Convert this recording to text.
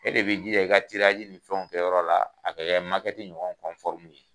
E de bɛ jija i ka ni fɛnw kɛ yɔrɔ la, a ka kɛ ɲɔgɔn ye